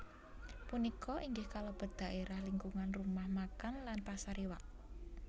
Punika inggih kalebet dhaérah lingkungan rumah makan lan pasar iwak